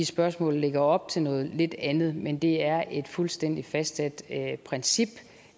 spørgsmålet lægger op til noget lidt andet men det er et fuldstændig fastsat princip